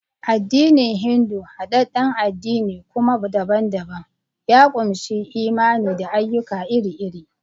Addinin Hindu, hadadden addini kuma daban-daban, ya ƙunshi imani da ayyuka iri-iri.